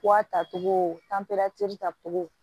tacogo tacogo